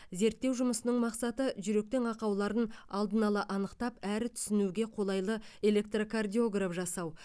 зерттеу жұмысының мақсаты жүректің ақауларын алдын ала анықтап әрі түсінуге қолайлы электрокардиограф жасау